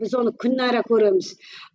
біз он күнәра көреміз